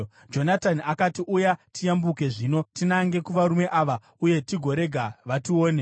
Jonatani akati, “Uya tiyambuke zvino tinange kuvarume ava uye tigorega vatione.